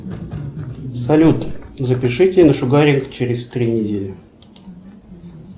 салют запишите на шугаринг через три недели